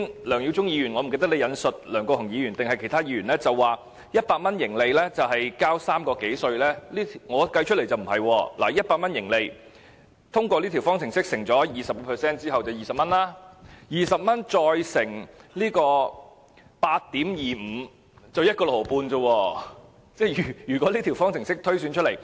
梁耀忠議員剛才引述不知梁國雄議員或是其他議員的說話，表示盈利100元要繳稅3元多，但我計算出來不是這樣子的，盈利100元，通過這條方程式乘 20% 是20元，再乘 8.25% 只有 1.65 元，即如果根據這條方程式來推算。